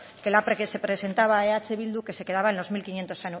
que la que presentaba eh bildu que se quedaba en los mil quinientos